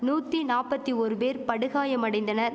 நூத்தி நாப்பத்தி ஓரு பேர் படுகாயமடைந்தனர்